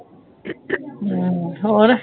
ਹੋਰ?